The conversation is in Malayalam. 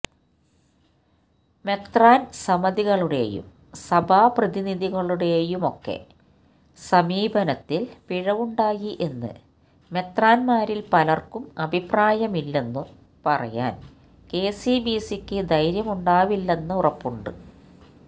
മെത്രാൻസമിതികളുടെയും സഭാപ്രതിനിധിയുടെയുമൊക്കെ സമീപനത്തിൽ പിഴവുണ്ടായി എന്ന് മെത്രാന്മാരിൽ പലർക്കും അഭിപ്രായമില്ലെന്നു പറയാൻ കെസിബിസിക്കു ധൈര്യമുണ്ടാവില്ലെന്നുറപ്പുണ്ട്